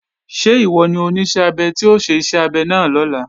Ṣé ìwọ ni Oníṣẹ́-abẹ tí ó ṣe iṣẹ́ abẹ náà lọ́la?